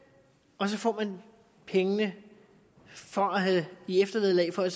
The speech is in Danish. og så får pengene i eftervederlag for at